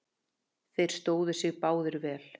Þeir stóðu sig báðir vel.